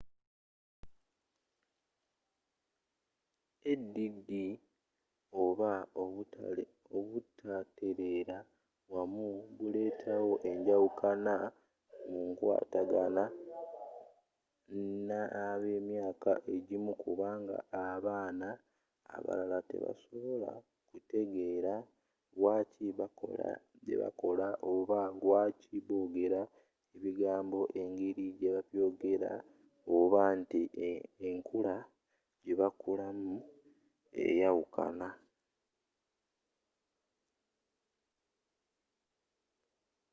add oba obutateleera wamu buleeta wo enjawukana mu nkwatagana n'abemyaaka egimu kubanga abaana abalala tebasobola kutegeela lwaaki bakola byebakola oba lwaaki bogera ebigambo engeri jebabyogera oba nti enkula jebakulamu eyawukana